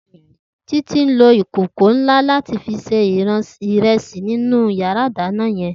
Titi n ló ikókó nlá làtí fi sé irèsí ninú iyàrá idàná yèn